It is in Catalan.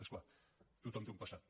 és clar tothom té un passat